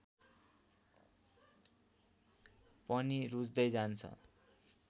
पनि रुच्दै जान्छ